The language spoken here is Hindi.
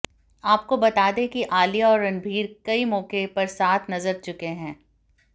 आपको बता दें कि आलिया और रणबीर कई मौके पर साथ नजर चुके हैं